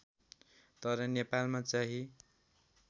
तर नेपालमा चाहिँ